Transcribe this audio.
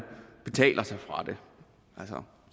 betaler sig fra det